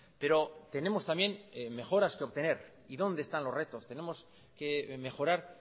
pero tenemos también mejoras que obtener y dónde están los retos tenemos que mejorar